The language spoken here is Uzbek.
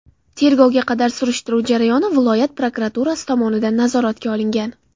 Tergovga qadar tekshiruv jarayoni viloyat prokuraturasi tomonidan nazoratga olingan.